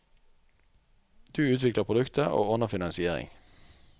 Du utvikler produktet, og ordner finansiering.